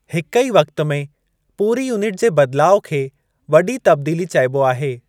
हिक ई वक्त में पूरी यूनिट जे बदिलाउ खे वॾी तब्दीली चइबो आहे।